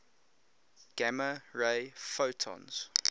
gamma ray photons